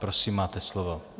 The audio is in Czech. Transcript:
Prosím, máte slovo.